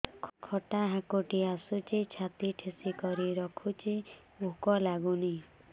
ଖଟା ହାକୁଟି ଆସୁଛି ଛାତି ଠେସିକରି ରଖୁଛି ଭୁକ ଲାଗୁନି